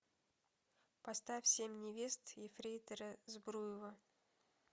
поставь семь невест ефрейтора збруева